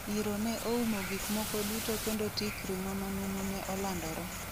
"Iro ne oumo gik moko duto kendo tik ring'o manumu ne olandore".